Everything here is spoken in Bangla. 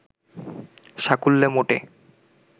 সাকুল্লে মোটে